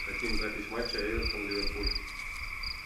хотим запись матча эвертон ливерпуль